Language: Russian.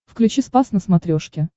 включи спас на смотрешке